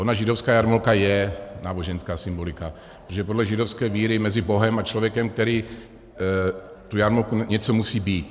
Ona židovská jarmulka je náboženská symbolika, protože podle židovské víry mezi Bohem a člověkem, který tu jarmulku... něco musí být.